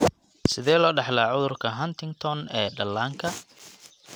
Sidee loo dhaxlaa cudurka Huntington ee dhallaanka (HD)?